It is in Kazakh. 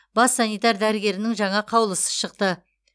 бас санитар дәрігерінің жаңа қаулысы шықты